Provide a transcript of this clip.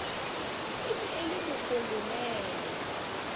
e ne e le mokolonele